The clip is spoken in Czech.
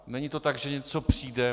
Není to tak, že něco přijde.